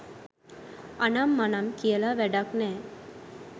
අනම් මනම් කියලා වැඩක් නෑ